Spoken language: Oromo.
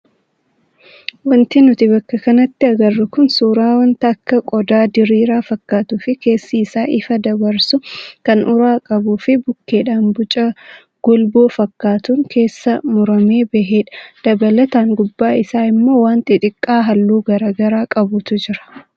Wanti nuti bakka kanatti agarru kun suuraa wanta akka qodaa diriiraa fakkatuu fi keessi isaa ifa dabarsu kan uraa qabuu fi bukkeedhaan boca golboo fakkaatuun keessaa muramee bahedha. Dabalataan gubbaa isaa immoo waan xixiqqaa halluu garaagaraa qabantu jiru.